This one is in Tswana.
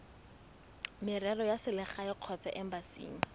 merero ya selegae kgotsa embasing